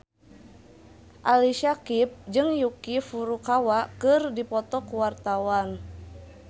Ali Syakieb jeung Yuki Furukawa keur dipoto ku wartawan